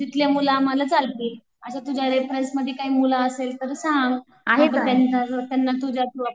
तर तिथले मुलं आम्हाला चालतील असे तुझ्या मध्ये काही मुलं असले तर सांग त्यांना तुझ्या